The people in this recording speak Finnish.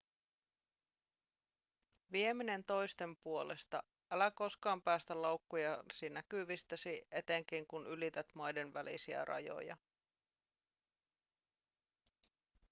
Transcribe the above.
vieminen toisten puolesta älä koskaan päästä laukkujasi näkyvistäsi etenkin kun ylität maiden välisiä rajoja